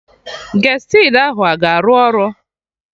Gestid ahụ a ga-arụ ọrụ?